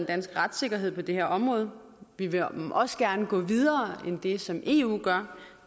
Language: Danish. danske retssikkerhed på det her område vi vil også gerne gå videre end det som eu gør